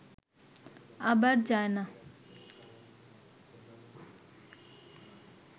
আবার যায় না